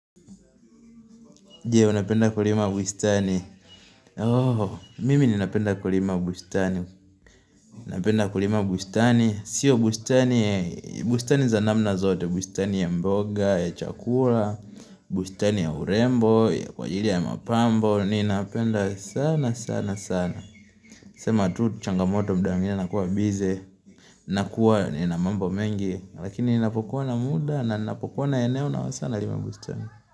Je, unapenda kulima bustani? Mimi ninapenda kulima bustani. Napenda kulima bustani. Sio bustani, bustani za namna zote. Bustani ya mboga, ya chakula bustani ya urembo, ya kwa ajili ya mapambo Ninapenda sana, sana, sana sema tu changamoto muda mwingine nakuwa bize nakuwa nina mambo mengi. Lakini ninapokuwa na muda na ninapokuwa na eneo na saa nalima bustani.